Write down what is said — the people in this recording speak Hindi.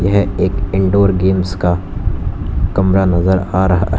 यह एक इंडोर गेम्स का कमरा नजर आ रहा है।